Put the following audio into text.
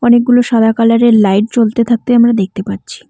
অনেকগুলো সাদা কালারের লাইট জ্বলতে থাকতে আমরা দেখতে পাচ্ছি।